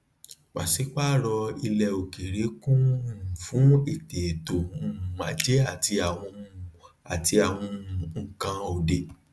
paṣipaarọ ilẹ okere kún fún eteto ajé àti àwọn àti àwọn nnkan òde